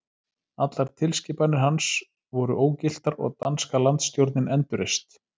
Allar tilskipanir hans voru ógiltar og danska landsstjórnin endurreist.